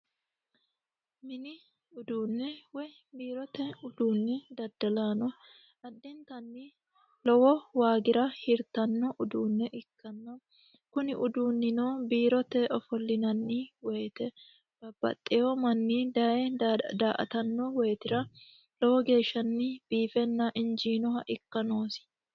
mini uduunne woy biirote uduunni daddalaano adintanni lowo waagira hirtanno uduunne ikkanna kuni uduunnino biirote ofollinanni woyite babbaxxeyo manni daye daatanno woyitira lowo geeshsha biifenna injiinoha ikka noosi